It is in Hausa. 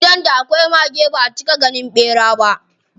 Gidan da akwai mage baʼa cika ganin ɓera ba.